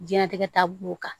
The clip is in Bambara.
Diɲɛnatigɛ ta b'o kan